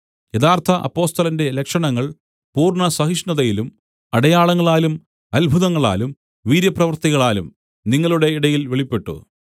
യഥാർത്ഥ അപ്പൊസ്തലന്റെ ലക്ഷണങ്ങൾ പൂർണ്ണ സഹിഷ്ണുതയിലും അടയാളങ്ങളാലും അത്ഭുതങ്ങളാലും വീര്യപ്രവൃത്തികളാലും നിങ്ങളുടെ ഇടയിൽ വെളിപ്പെട്ടു